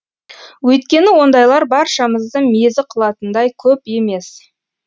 өйткені ондайлар баршамызды мезі қылатындай көп емес